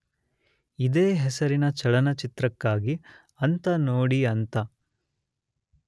ಇದೇ ಹೆಸರಿನ ಚಲನಚಿತ್ರಕ್ಕಾಗಿ ಅಂತ ನೋಡಿಅಂತ